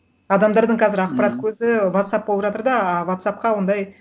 адамдардың қазір ақпарат көзі вотсапп болып жатыр да а вотсаппқа ондай